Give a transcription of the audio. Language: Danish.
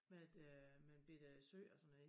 Med et øh med et bette sø og sådan noget i